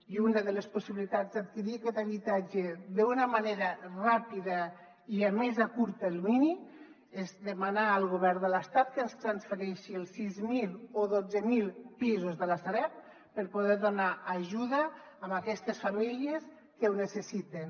i una de les possibilitats d’adquirir aquest habitatge d’una manera ràpida i a més a curt termini és demanar al govern de l’estat que ens transfereixi els sis mil o dotze mil pisos de la sareb per poder donar ajuda a aquestes famílies que ho necessiten